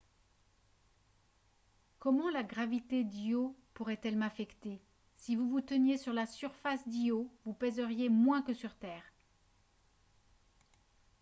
comment la gravité d’io pourrait-elle m’affecter ? si vous vous teniez sur la surface d’io vous pèseriez moins que sur terre